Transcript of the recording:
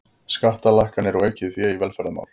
Skattalækkanir og aukið fé í velferðarmál